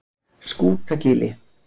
Skútagili